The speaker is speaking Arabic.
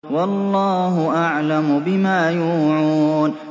وَاللَّهُ أَعْلَمُ بِمَا يُوعُونَ